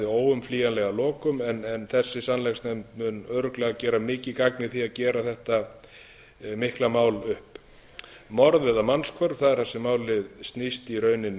óumflýjanleg að lokum en þessi sannleiksnefnd mun örugglega gera mikið gagn í því að gera þetta mikla mál upp morð eða mannshvörf það er það sem málið snýst í rauninni